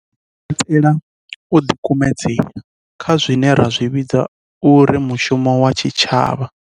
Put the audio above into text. Izwi zwi katela u ḓikumedzela kha zwine ra zwi vhidza uri mushumo wa tshitshavha.